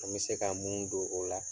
An bɛ se ka mun don o la,